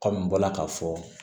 n bɔra k'a fɔ